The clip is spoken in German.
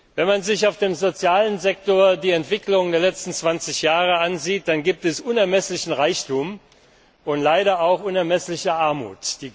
Wenn man sich auf dem sozialen Sektor die Entwicklung der letzten 20 Jahre ansieht, dann gibt es unermesslichen Reichtum und leider auch unermessliche Armut.